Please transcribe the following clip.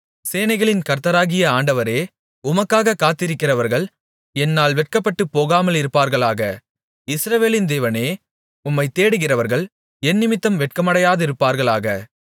சேனைகளின் கர்த்தராகிய ஆண்டவரே உமக்காகக் காத்திருக்கிறவர்கள் என்னால் வெட்கப்பட்டுப் போகாமலிருப்பார்களாக இஸ்ரவேலின் தேவனே உம்மைத் தேடுகிறவர்கள் என்னிமித்தம் வெட்கமடையாதிருப்பார்களாக